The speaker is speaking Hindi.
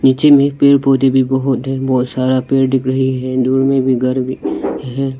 नीचे में पेड़ पौधे भी बहुत हैं बहुत सारा पेड़ दिख रही है दूर में भी घर भी है।